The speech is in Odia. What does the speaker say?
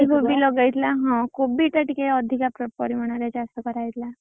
କୋବି ଲଗା ହେଇଥିଲା ହଁ କୋବିଟା ଟିକେ ଅଧିକ ପରିମାଣରେ ଚାଷ କରାହେଇଥିଲା।